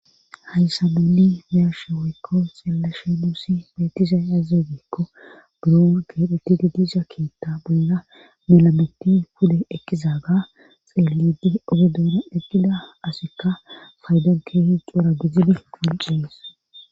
Hayssa nuunni biyashe woykko xeellashe nuusi beetiza yaazegeekko buron keedhetti didiisa keetta bolla melameti hude ekiza ga xeelidi ogedoona ekida asikka faydon keehi coura bizidi quncees